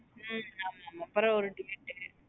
ஹம் ஆமா அப்பறம் ஒரு ticket உ.